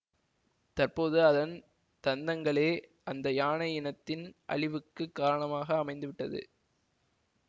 தற்போது அதன் தந்தங்களே அந்த யானை இனத்தின் அழிவுக்குக் காரணமாக அமைந்து விட்டது